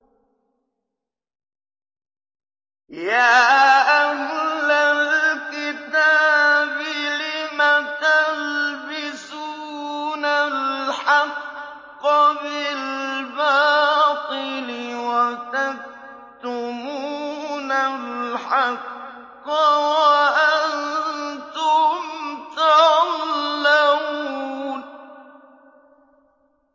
يَا أَهْلَ الْكِتَابِ لِمَ تَلْبِسُونَ الْحَقَّ بِالْبَاطِلِ وَتَكْتُمُونَ الْحَقَّ وَأَنتُمْ تَعْلَمُونَ